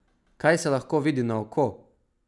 Kaj se lahko vidi na oko?